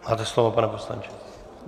Máte slovo, pane poslanče.